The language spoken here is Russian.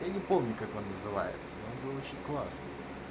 я не помню как он называется но он был очень классный